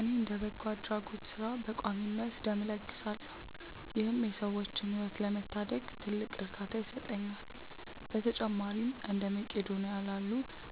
እኔ እንደ በጎ አድራጎት ሥራ በቋሚነት ደም እለግሳለሁ ይህም የሰዎችን ሕይወት ለመታደግ ትልቅ እርካታ ይሰጠኛል። በተጨማሪም እንደ መቅዶንያ ላሉ